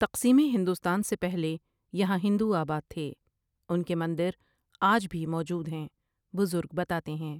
تقسیم ہندوستان سے پہلے یہاں ہندو آباد تھے اُن کے مندر آج بھی موجود ہیں بزرگ بتاتے ہیں ۔